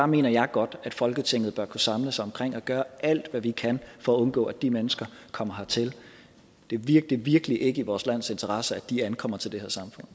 mener jeg godt at folketinget bør kunne samles omkring at gøre alt hvad vi kan for at undgå at de mennesker kommer hertil det er virkelig virkelig ikke i vores lands interesser at de ankommer til det